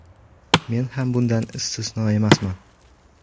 Men ham bundan istisno emasman.